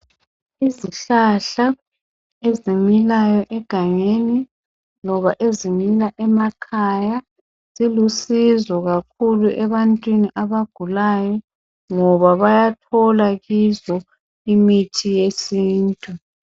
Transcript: Izihlahla ezimilayo egangeni loba ezimila emakhaya zilusizo kakhulu ebantwini abagulayo ngoba bayathola kizo imithi yesintu.